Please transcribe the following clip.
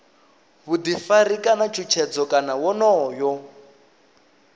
vhuḓifari kana tshutshedzo kana wonoyo